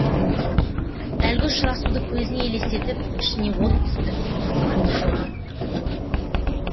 әлгі ұшырасуды көзіне елестетіп ішіне от түсті қызғаныш оты